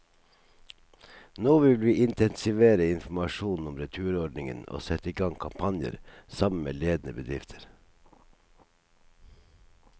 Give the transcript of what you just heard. Nå vil vi intensivere informasjonen om returordningen og sette i gang kampanjer, sammen med ledende bedrifter.